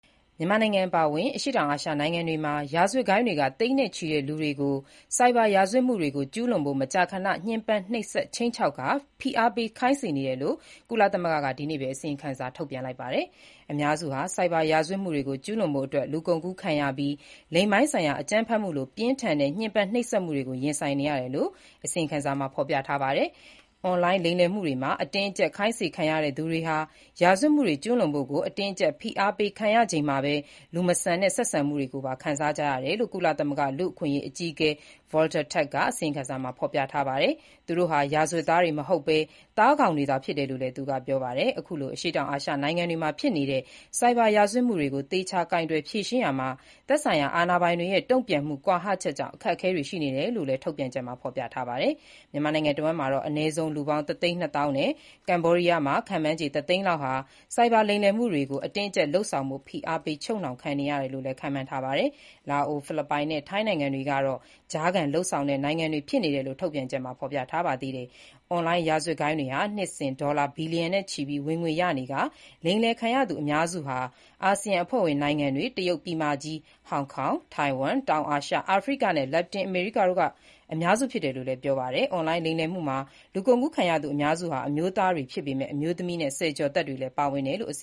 မြန်မာနိုင်ငံ အပါအဝင် အရှေ့တောင်အာရှ နိုင်ငံတွေမှာ ရာဇဝတ်ဂိုဏ်းတွေက သိန်းနဲ့ ချီတဲ့ လူတွေကို ဆိုက်ဘာရာဇဝတ်မှုတွေကို ကျူးလွန်ဖို့ မကြာခဏ ညှဉ်းပန်းနှိပ်စက် ခြိမ်းခြောက်ကာ ဖိအားပေးစေခိုင်းနေတယ်လို့ ကုလသမဂ္ဂက ဒီနေ့ပဲ အစီရင်ခံစာထုတ်ပြန်ပါတယ်။ အများစုဟာ ဆိုက်ဘာရာဇဝတ်မှုတွေကို ကျူးလွန်ဖို့အတွက် လူကုန်ကူးခံရပြီး၊ လိင်ပိုင်းဆိုင်ရာ အကြမ်းဖက်မှုလို ပြင်းထန်တဲ့ ညှဉ်းပန်းနှိပ်စက်မှုတွေကို ရင်ဆိုင်နေရတယ်လို့ အစီရင်ခံစာမှာ ဖော်ပြထားပါတယ်။ “အွန်လိုင်းလိမ်လည်မှုတွေမှာ အတင်းအကြပ် ခိုင်းစေခံရတဲ့သူတွေဟာ ရာဇဝတ်မှုတွေ ကျူးလွန်ဖို့ ကို အတင်းအကြပ် ဖိအားပေးခံရချိန်မှာ လူမဆန်တဲ့ ဆက်ဆံမှုတွေကိုပါ ခံစားကြရတယ်” လို့ ကုလသမဂ္ဂ လူ့အခွင့်အရေး အကြီးအကဲ Volker Turk က အစီရင်ခံစာမှာ ပြောပါတယ်။ သူတို့ဟာ ရာဇဝတ်သားတွေ မဟုတ်ဘဲ၊ သားကောင်တွေသာဖြစ်တယ်လို့လည်း သူကပြောပါတယ်။ အခုလို အရှေ့တောင်အာရှ နိုင်ငံတွေမှာ ဖြစ်နေတဲ့ ဆိုက်ဘာရာဇဝတ်မှုတွေကို သေချာကိုင်တွယ်ဖြေရှင်းရာမှာ သက်ဆိုင်ရာ အာဏာပိုင်တွေရဲ့ တုံ့ပြန်မှု ကွာဟချက်ကြောင့် အခက်အခဲရှိတယ်လို့လည်းထုတ်ပြန်ချက်မှာ ဖော်ပြထားပါတယ်။ မြန်မာနိုင်ငံတစ်ဝှမ်းမှာတော့ အနည်းဆုံး လူပေါင်း ၁ သိန်း ၂ သောင်းနဲ့ ကမ္ဘောဒီးယားမှာ ခန့်မှန်းခြေ ၁ သိန်း လောက်ဟာ ဆိုက်ဘာ လိမ်လည်မှုတွေကို အတင်းအကြပ် လုပ်ဆောင်ဖို့ ဖိအားပေး ချုပ်နှောင်ခံနေရတယ်လို့လည်း ခန့်မှန်းထားပါတယ်။ လာအို၊ ဖိလစ်ပိုင်နဲ့ ထိုင်းနိုင်ငံတွေကတော့ ကြားခံလုပ်ဆောင်နေတဲ့ နိုင်ငံတွေဖြစ်နေတယ်လို့ ထုတ်ပြန်ချက်မှာဖော်ပြထားပါတယ်။ အွန်လိုင်းရာဇဝတ်ဂိုဏ်းတွေဟာ နှစ်စဉ် ဒေါ်လာဘီလီယံနဲ့ချီပြီး ဝင်ငွေရနေပြီး၊ လိမ်လည်ခံရသူအများစုဟာ အာဆီယံအဖွဲ့ဝင် နိုင်ငံတွေ၊ တရုတ်ပြည်မကြီး၊ ဟောင်ကောင်၊ ထိုင်ဝမ်၊ တောင်အာရှ၊ အာဖရိကနဲ့ လက်တင်အမေရိကတို့က အများစုဖြစ်တယ်လို့လည်း ပြောပါတယ်။ အွန်လိုင်းလိမ်လည်မှုမှာ လူကုန်ကူးခံရသူအများစုဟာ အမျိုးသားတွေဖြစ်ပေမဲ့ အမျိုးသမီးတွေနဲ့ ဆယ်ကျော်သက်တွေလည်း ပါတယ်လို့ အစ